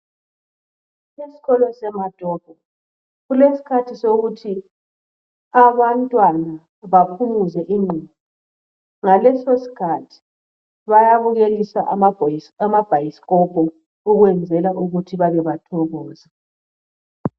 Esikolo seMatopo kulesikhathi sokuthi abantwana baphumuze ingqondo ngaleso skhathi bayabukeliswa ama bhayisikopo ukwenzela ukuthi bake bathokoze.